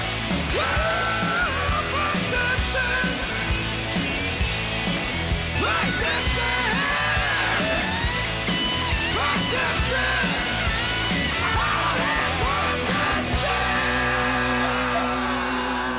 var